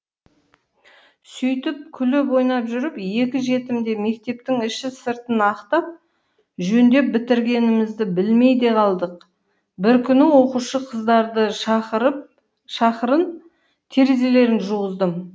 сөйтіп күліп ойнап жүріп екі жетімде мектептің іші сыртын ақтап жөндеп бітіргенімізді білмей де қалдық бір күні оқушы қыздарды шақырып терезелерін жуғыздым